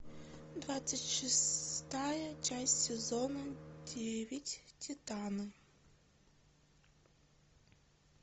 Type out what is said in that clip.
двадцать шестая часть сезона девять титаны